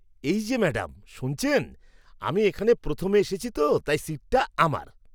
এই যে ম্যাডাম শুনছেন, আমি এখানে প্রথমে এসেছি তো তাই সিটটা আমার!